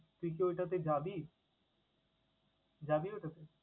তুই কি ওটাতে যাবি? যাবি ওটাতে?